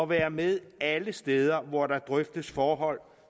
være med alle steder hvor der drøftes forhold